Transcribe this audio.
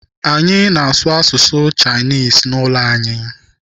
Anyị na-asụ asụsụ Chinese n'ụlọ anyị.